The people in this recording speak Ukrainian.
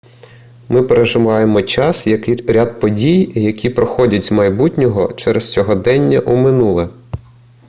ми переживаємо час як ряд подій які проходять з майбутнього через сьогодення у минуле